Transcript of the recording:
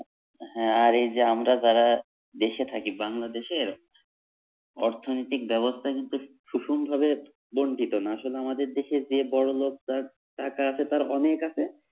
হ্যাঁ আর এই যে আমরা যারা দেশে থাকি, বাংলাদেশের অর্থনৈতিক ব্যবস্থা কিন্তু সুষমভাবে বন্টিত না আসলে আমাদের দেশে যে বড়োলোক তার টাকা আছে তার অনেক আছে